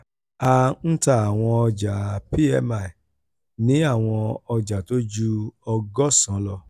a ń ta àwọn ọjà pmi ní àwọn ọjà tó ju ọgọ́sàn-án lọ.